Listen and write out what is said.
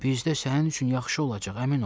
Bizdə sənin üçün yaxşı olacaq, əmin ol.